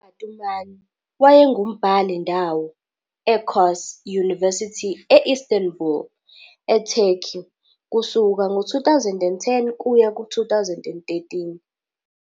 UBatuman wayengumbhali-ndawo e-Koç University e- Istanbul, eTurkey, kusuka ngo-2010 kuya ku-2013.